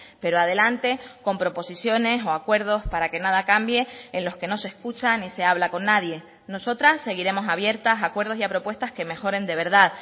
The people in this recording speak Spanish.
pero adelante con proposiciones o acuerdos para que nada cambie en los que no se escucha ni se habla con nadie nosotras seguiremos abiertas a acuerdos y a propuestas que mejoren de verdad